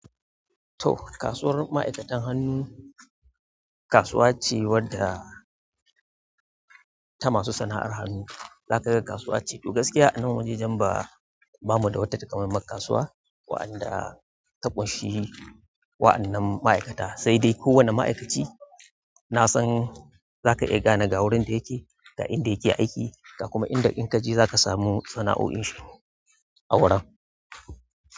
To, kasuwar ma'aikatan hannu kasuwa ce wadda ta masu sana'ar hannu. Zaka kasuwa ce. To gaskiya a nan wajejen ba, bamu da wata takamaiman kasuwa waɗanda ta ƙunshi wa'annan ma'aikata, sai dai kowane ma'aikaci na san zaka iya gane ga wurin da yake, ga inda yake aiki ga kuma inda in ka je za ka samu sana'o'in shi a wurin.